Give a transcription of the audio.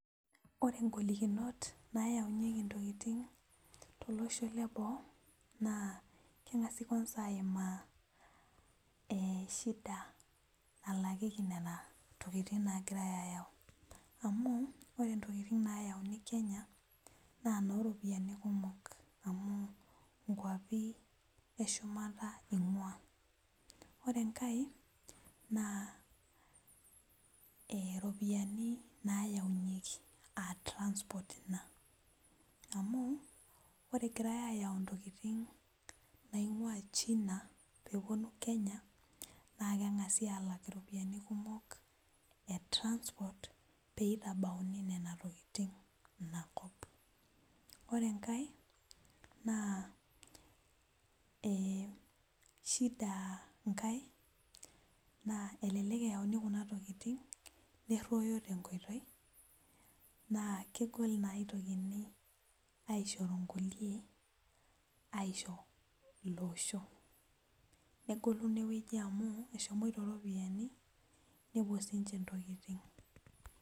Ore ngolikinot nayaunyieki ntokitin tolosho Leboo na kengasai ninye aimaashida nalakieki ntokitin nagirai ayau amu ore ntokitin nalakieki kenya ns noropiyani kumok amu nkwapi eshumata ingua orr enkae na ropiyani nayaunyieki a transport fee amu ore egirai ayau ntokitin naingua china na kengasi alak mpisai peitabauni nona tokitin inakop ore enkae na shida nkae na elelek eyaunu kuna tokitin neroyo tenkoitoi na elelek naishoru nkulie ashoo iloo osho negolu inewueji amu eshomoita ropiyani nepuo sinche ntokitin.